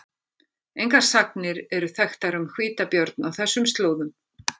Engar sagnir eru þekktar um hvítabjörn á þessum slóðum.